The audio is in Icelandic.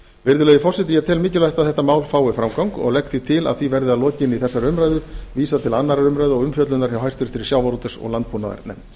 virðulegi forseti ég tel mikilvægt að þetta mál fái framgang og legg því til að því verði að lokinni þessari umræðu vísað til annarrar umræðu og umfjöllunar hjá háttvirtum sjávarútvegs og landbúnaðarnefnd